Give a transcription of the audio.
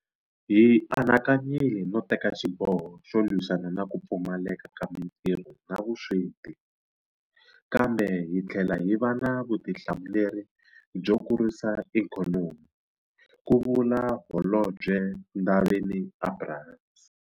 Hi anakanyile no teka xiboho xo lwisana na ku pfumaleka ka matirho na vusweti, kambe hi tlhela hi va na vutihlamuleri byo kurisa ikhonomi, ku vula Holobye Ndabeni-Abrahams.